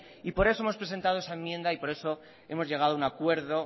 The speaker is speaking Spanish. y por eso hemos presentado esa enmienda por eso hemos llegado a un acuerdo